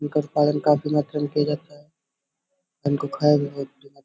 इनका सेवन काफी महत्वपूर्ण रहता है। इनको खाया भी जाता है।